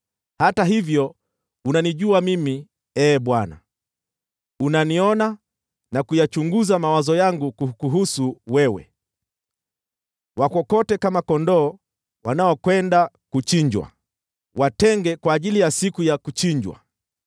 Hata hivyo unanijua mimi, Ee Bwana ; unaniona na kuyachunguza mawazo yangu kukuhusu wewe. Wakokote kama kondoo wanaokwenda kuchinjwa! Watenge kwa ajili ya siku ya kuchinjwa!